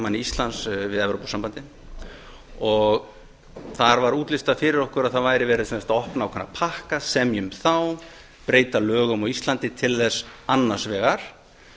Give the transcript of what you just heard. aðalsamningamanni íslands við evrópusambandið þar var útlistað fyrir okkur að það væri verið sem sagt að opna ákveðna pakka semja um þá breyta lögum á íslandi til þess annars vegar